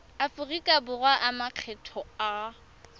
aforika borwa a makgetho a